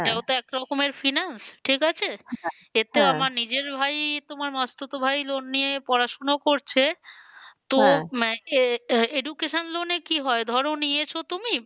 এটাও তো এক রকমের finance ঠিক আছে নিজের ভাই তোমার মাসতুতো ভাই loan নিয়ে পড়াশোনা করছে education loan এ কি হয় ধরো নিয়েছো তুমি